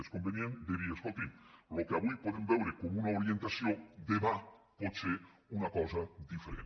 és convenient de dir escoltin el que avui podem veure com una orientació demà pot ser una cosa diferent